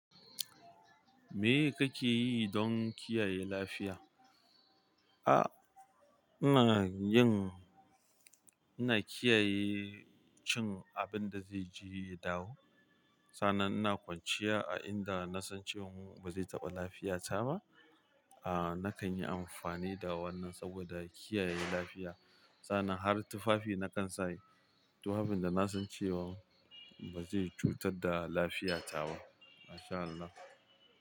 Me kake yi don kiyaye lafiya? A'a, ina yin-- ina kiyaye cin abin da zai je ya dawo. Sannan ina kwanciya a inda na san cewa ba zai taɓa lafiya ta ba ahh aa nakan yi amfani da wannan saboda kiyaye lafiya. Sa'annan har tufafi na kan sa yi. Tufafin da na san cewan ba zai cutar da lafiya ta ba, Masha Allah.